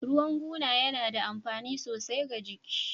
Ruwan guna yana da amfani sosai ga jiki